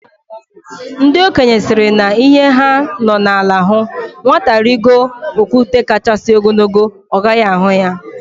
Ndị okenye sịrị na ihe ha nọ na ala hụ, nwata rigo okwute kachasị ogologo, ọ gaghị ahụ ya